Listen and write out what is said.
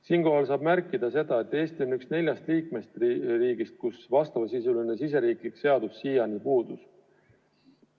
Siinkohal tuleb märkida seda, et Eesti on üks neljast liikmesriigist, kus sellesisuline riigisisene seadus siiani puudus.